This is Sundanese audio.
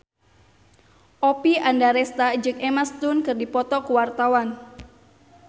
Oppie Andaresta jeung Emma Stone keur dipoto ku wartawan